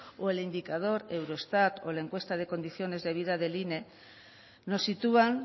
o el indicador eurostat o la encuesta de condiciones de vida del ine nos sitúan